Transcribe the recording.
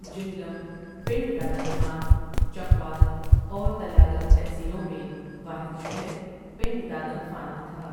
جہلم، پنڈدادن خان، چکوال اور تلہ گنگ تحصیلیوں میں واحد شہر پنڈدادن خان ہی تھا ۔